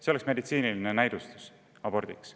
See oleks meditsiiniline näidustus abordiks.